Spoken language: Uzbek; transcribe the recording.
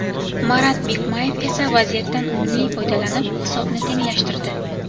Marat Bikmayev esa vaziyatdan unumli foydalanib hisobni tenglashtirdi.